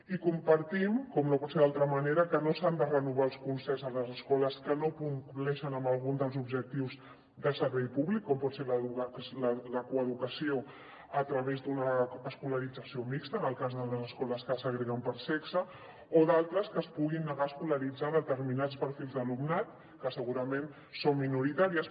i compartim com no pot ser d’altra manera que no s’han de renovar els concerts a les escoles que no compleixen amb algun dels objectius de servei públic com pot ser la coeducació a través d’una escolarització mixta en el cas de les escoles que segreguen per sexe o d’altres que es puguin negar a escolaritzar determinats perfils d’alumnat que segurament són minoritàries